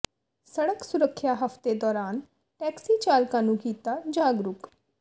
ਸੜਕ ਸੁਰੱਖਿਆ ਹਫਤੇ ਦੌਰਾਨ ਟੈਕਸੀ ਚਾਲਕਾਂ ਨੂੰ ਕੀਤਾ ਜਾਗਰੂਕ